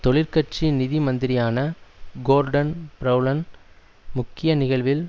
தொழிற்கட்சி நிதி மந்திரியான கோர்டன் பிரெளன் முக்கிய நிகழ்வில்